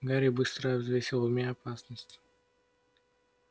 гарри быстро взвесил в уме опасность